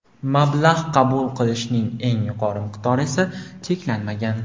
Mablag‘ qabul qilishning eng yuqori miqdori esa cheklanmagan.